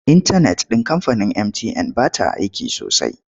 Intanet ɗin kamfanin mtn ba ta aiki sosai.